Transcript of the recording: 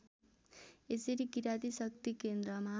यसरी किराती शक्तिकेन्द्रमा